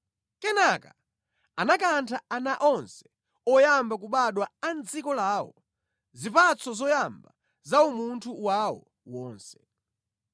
Kenaka anakantha ana onse oyamba kubadwa a mʼdziko lawo, zipatso zoyamba za umunthu wawo wonse.